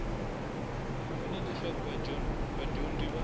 ku vona leswaku vadyondzi va